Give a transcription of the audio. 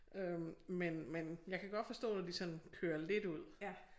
Øh men men jeg kan godt forstår når de sådan kører lidt ud